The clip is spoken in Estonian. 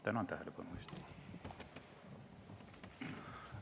Tänan tähelepanu eest!